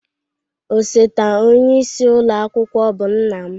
Osote onyeisi ụlọ akwụkwọ bụ nna m.